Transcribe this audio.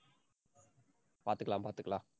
பாத்துக்கலாம், பாத்துக்கலாம்.